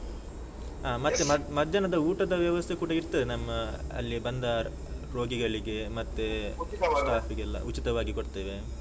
ಹಾ ಮತ್ತೆ ಮಧ್ಯಾಹ್ನ ಮಧ್ಯಾಹ್ನದ ಊಟದ ವ್ಯವಸ್ಥೆ ಕೂಡ ಇರ್ತದೆ, ನಮ್ಮ ಅಲ್ಲಿ ಬಂದ ರೋಗಿಗಳಿಗೆ ಮತ್ತೆ ಉಚಿತವಾಗಿ ಕೊಡ್ತೇವೆ.